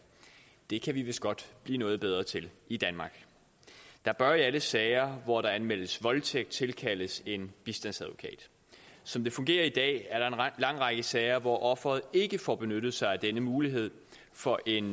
det kan vi vist godt blive noget bedre til i danmark der bør i alle sager hvor der anmeldes voldtægt tilkaldes en bistandsadvokat som det fungerer i dag er der en lang række sager hvor offeret ikke får benyttet sig af denne mulighed for en